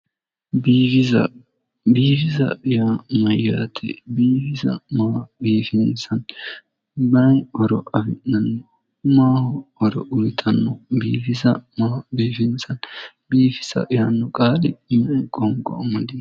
Biifisa biifisa yaa mayyaate biifisa maa biifinsanni mayi horo afi'nanni maaho horo uyitanno biifisa maa biifinsanni biifisa yaanno qaali me'e qoonqo amadino